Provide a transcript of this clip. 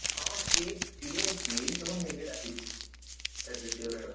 ହଁ ସିଏ ସିଏ ସେଇ କଣ ନିଜେ ଡାକିଛି ତାର ଯେତିକ ସାଙ୍ଗ,